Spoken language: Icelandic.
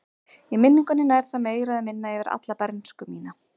Í minningunni nær það meira eða minna yfir alla bernsku mína.